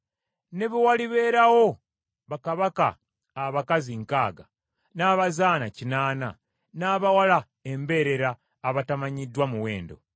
Ne bwe walibeerawo bakabaka abakazi nkaaga, n’abazaana kinaana, n’abawala embeerera abatamanyiddwa muwendo,